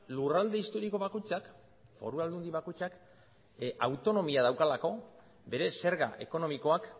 lurralde historiko bakoitzak foru aldundi bakoitzak autonomia daukalako bere zerga ekonomikoak